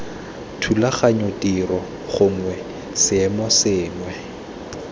thulaganyo tiro gongwe seemo sengwe